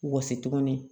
Wɔsi tuguni